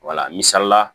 Wala misalila